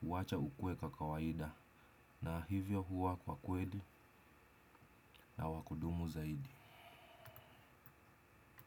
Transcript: huacha ukue kwa kawaida. Na hivyo huwa kwa kweli na wa kudumu zaidi.